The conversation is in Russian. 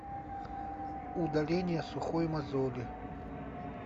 удаление сухой мозоли